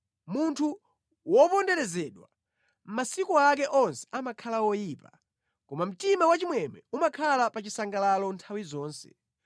Munthu woponderezedwa masiku ake onse amakhala oyipa, koma mtima wachimwemwe umakhala pa chisangalalo nthawi zonse.